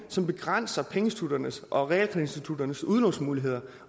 som begrænser pengeinstitutternes og realkreditinstitutternes udlånsmuligheder